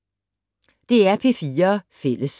DR P4 Fælles